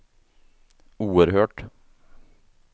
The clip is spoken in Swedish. oerhört